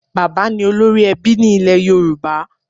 Bàbá ni olórí ẹbí ní ilẹ̀ Yorùbá.